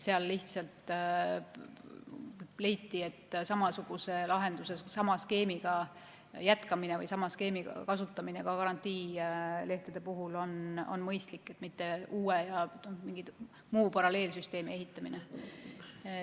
Lihtsalt leiti, et samasuguse lahenduse jätkamine või sama skeemi kasutamine karantiinilehtede puhul on mõistlikum kui uue ja mingi muu paralleelsüsteemi ehitamine.